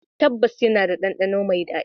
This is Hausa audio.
Tabbas, yana da ɗandano mai daɗi.